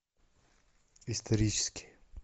исторический